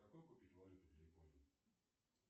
какую купить валюту для японии